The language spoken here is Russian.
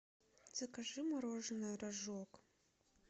закажи мороженое рожок